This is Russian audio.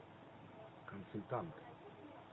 консультант